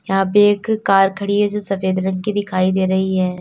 यहां पे एक कार खड़ी है जो सफेद रंग की दिखाई दे रही है।